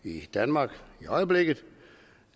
i danmark i øjeblikket